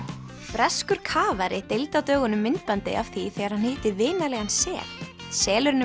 breskur deildi á dögunum myndbandi af því þegar hann hitti vinalegan sel selurinn